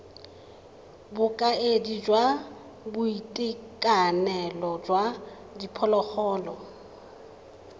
bokaedi jwa boitekanelo jwa diphologolo